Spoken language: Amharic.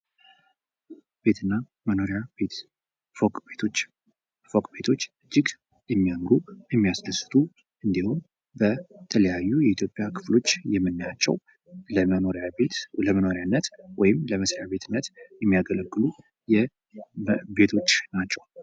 ቤት እና መኖሪያ ቤት ፎቅ ቤቶች። ፎቅ ቤቶች እጅግ የሚያምሩ፣ የሚያስደስቱ እንዲሁም በተለያዩ የኢትዮጵያ ክፍሎች የምናያቸው ለመኖርያ ቤት ለመኖሪያነት ወይም ለመስሪያ ቤትነት የሚያገለግሉ የቤቶች ናቸው።